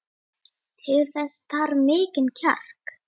Til þess þarf mikinn kjark.